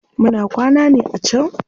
Muna kwana ne a can.